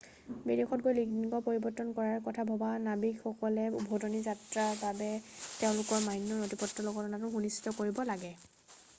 বিদেশত গৈ লিঙ্গ পৰিৱৰ্তন কৰাৰ কথা ভবা নাবিকসকলে উভতনি যাত্ৰাৰ বাবে তেওঁলোকৰ মান্য নথিপত্ৰ লগত অনাটো সুনিশ্চিত কৰিব লাগে